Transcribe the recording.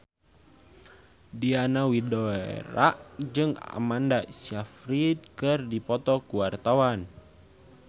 Diana Widoera jeung Amanda Sayfried keur dipoto ku wartawan